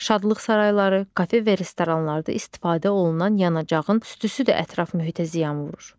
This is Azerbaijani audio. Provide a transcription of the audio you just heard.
Şadlıq sarayları, kafe və restoranlarda istifadə olunan yanacağın tüstüsü də ətraf mühitə ziyan vurur.